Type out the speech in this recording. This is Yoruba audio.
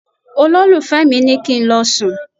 Olólùfẹ́ mi ní kí n lọ sùn.